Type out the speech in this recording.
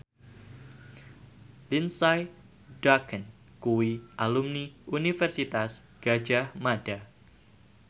Lindsay Ducan kuwi alumni Universitas Gadjah Mada